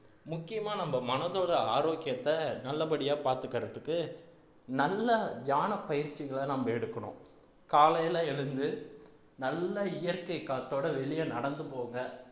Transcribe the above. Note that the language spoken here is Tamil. முக்கியமா நம்ம மனதோட ஆரோக்கியத்தை நல்லபடியா பார்த்துக்கிறதுக்கு நல்ல தியானப் பயிற்சிகளை நாம எடுக்கணும் காலையில எழுந்து நல்ல இயற்கை காத்தோட வெளிய நடந்து போங்க